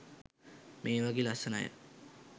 මේ වගේ ලස්සන අය.